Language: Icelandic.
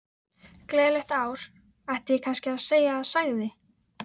Gleðilegt ár, ætti ég kannski að segja sagði